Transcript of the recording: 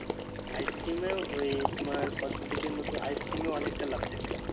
icecream এ ওই তোমার cosmetics এর মত ice cream এও অনেকটা লাভ থাকে।